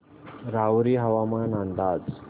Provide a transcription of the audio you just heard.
राहुरी हवामान अंदाज